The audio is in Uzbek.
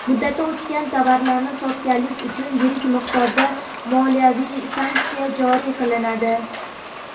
Muddati o‘tgan tovarlarni sotganlik uchun yirik miqdorda moliyaviy sanksiya joriy qilinadi.